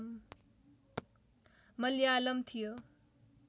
मल्यालम थियो